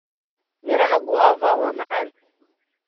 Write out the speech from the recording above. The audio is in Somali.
Miraha Guava waa macaan.